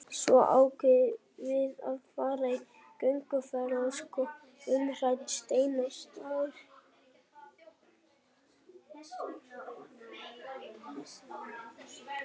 Svo ákveðum við að fara í gönguferð og skoða umrædda steina og staði.